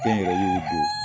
Kɛn yɛrɛ yew do.